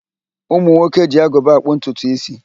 Ụmụ nwoke ji agụba akpụ ntutu ísí.